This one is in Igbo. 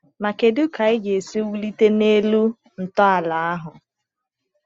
Ma kedu ka anyị ga-esi wulite n’elu ntọala ahụ?